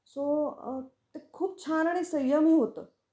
So ते खूप छान आणि संयमी होतं.